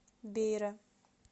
бейра